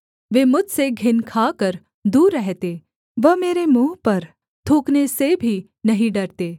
वे मुझसे घिन खाकर दूर रहते व मेरे मुँह पर थूकने से भी नहीं डरते